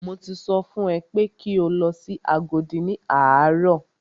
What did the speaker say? Mo ti sọ fún ẹ pé kí o lọ sí Agodi ní àárọ̀!